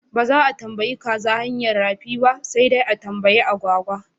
Ba za a tambayi kaza hanyar rafi ba sai dai a tambayi agwagwa.